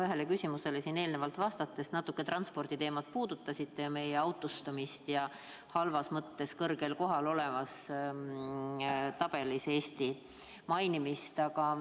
Ühele küsimusele eelnevalt vastates te natuke transporditeemat puudutasite, mainisite meie autostumist ja seda, et Eesti on selles tabelis halvas mõttes kõrgel kohal.